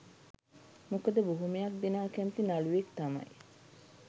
මොකද බොහොමයක් දෙනා කැමති නළුවෙක් තමයි